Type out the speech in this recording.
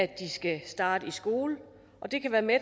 de skal starte i skole og det kan være med